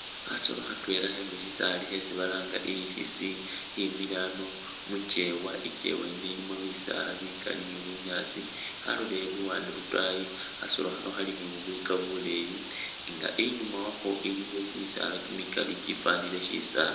Kasolo khatwela khemushisaali khesi balanga ikhisi khimile khano mukyewa ikyewa yino ilimo bisaala bikali ni bunyaasi khalolele luwande lwotaayi khasolo khano khali ni buyika buleyi inga inyuma wakho iliyo kyimisaala kyimikali kyifanile kyisaali